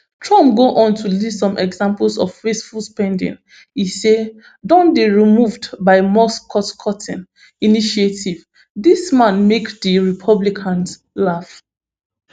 trump go on to list some examples of wasteful spending e say don dey removed by musk costcutting initiative dis wan make di republicans laugh